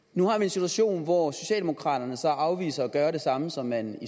nu har vi en situation hvor socialdemokraterne så afviser at gøre det samme som man